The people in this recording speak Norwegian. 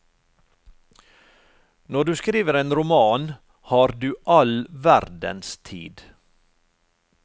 Når du skriver en roman, har du all verdens tid.